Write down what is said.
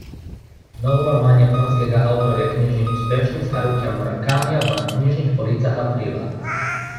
Nov roman japonskega avtorja knjižnih uspešnic Harukija Murakamija bo na knjižnih policah aprila.